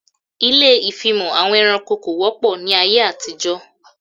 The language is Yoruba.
Ilé ìfimọ̀ àwọn ẹranko kò wọ́pọ̀ ní ayé àtijó